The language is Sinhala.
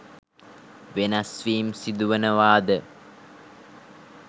වෙනස්වීම් සිදුවනවාද?